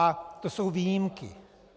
A to jsou výjimky.